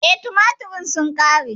E, tumaturen sun ƙare.